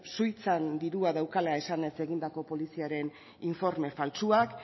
suitzan dirua daukala esanez egindako poliziaren informa faltsuak